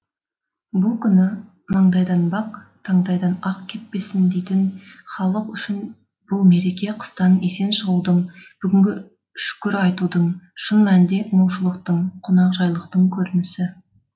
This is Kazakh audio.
бұл күні маңдайдан бақ таңдайдан ақ кеппесін дейтін халық үшін бұл мереке қыстан есен шығудың бүгінгі шүкір айтудың шын мәнінде молшылықтың қонақжайлықтың көрінісі